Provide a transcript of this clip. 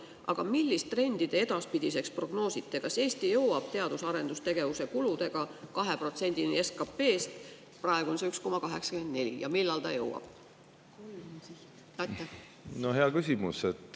Aga millist trendi te edaspidiseks prognoosite: kas Eesti jõuab teadus- ja arendustegevuse kuludega 2%-ni SKT‑st – praegu on see 1,84% – ja millal ta jõuab?